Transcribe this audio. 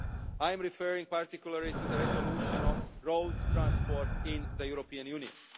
I am referring particularly to the resolution on road transport in the European Union.